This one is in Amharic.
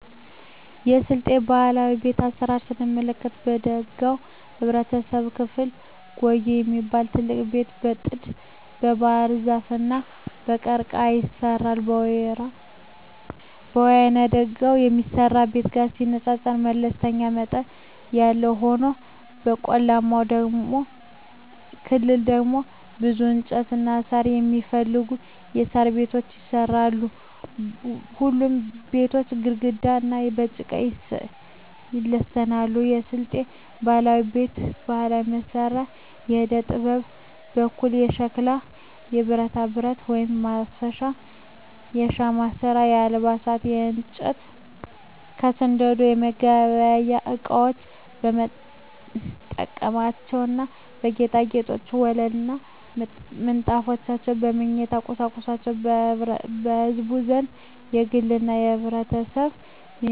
የስልጤ ባህላዊ ቤት አሰራር ስንመለከት በደጋው የህብረተሰብ ክፍል ጉዬ የሚባል ትልቅ ቤት በጥድ, በባህርዛፍ እና በቀርቀሀ ይሰራል። በወይናደጋው የሚሰራው ቤት ጋር ሲባል መለስተኛ መጠን ያለው ሆኖ በቆላማው ክፍል ደግሞ ብዙ እንጨትና ሳር የማይፈልጉ የሣር ቤቶች ይሰራሉ። ሁሉም ቤቶች ግድግዳቸው በጭቃ ይለሰናሉ። የስልጤ ባህላዊ ቤት ባህላዊ መሳሪያዎች በዕደጥበብ ስራ በኩል ከሸክላ ከብረታብረት (ማረሻ) ከሻማ ስራ አልባሳት ከእንጨት ከስንደዶ የመገልገያ እቃወች መጠጫዎች ና ጌጣጌጦች ወለል ምንጣፎች የመኝታ ቁሳቁሶች በህዝቡ ዘንድ በግልና በህብረት ይመረታሉ።